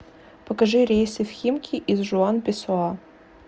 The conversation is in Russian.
покажи рейсы в химки из жуан песоа